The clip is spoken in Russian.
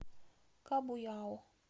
кабуйао